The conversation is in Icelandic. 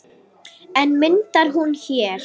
En myndar hún hér?